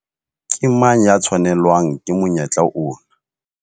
Ke mang ya tshwanelwang ke monyetla ona?